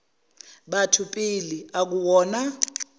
batho pele akuwona